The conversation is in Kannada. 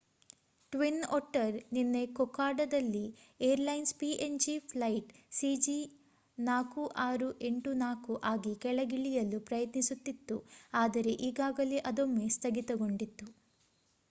ಟ್ವಿನ್ ಒಟ್ಟರ್ ನಿನ್ನೆ ಕೊಕೊಡಾದಲ್ಲಿ ಏರ್‌ಲೈನ್ಸ್ png ಫ್ಲೈಟ್ cg4684 ಆಗಿ ಕೆಳಗಿಳಿಯಲು ಪ್ರಯತ್ನಿಸುತ್ತಿತ್ತು ಆದರೆ ಈಗಾಗಲೇ ಅದೊಮ್ಮೆ ಸ್ಥಗಿತಗೊಂಡಿತ್ತು